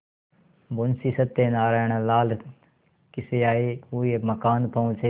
मुंशी सत्यनारायणलाल खिसियाये हुए मकान पहुँचे